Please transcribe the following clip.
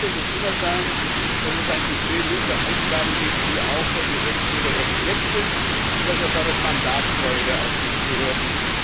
Die Prämisse muss immer sein, dass es ein Budget nur für Aufgaben gibt, die auch vom Gesetzgeber her gedeckt sind, und das erfordert Mandatstreue der Aufsichtsbehörden.